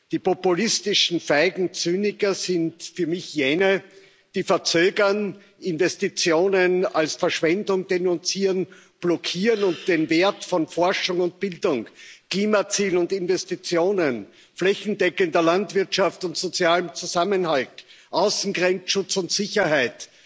Die populistischen feigen Zyniker sind für mich jene, die verzögern, Investitionen als Verschwendung denunzieren, blockieren und den Wert von Forschung und Bildung, Klimazielen und Investitionen, flächendeckender Landwirtschaft und sozialem Zusammenhalt, Außengrenzschutz und Sicherheit,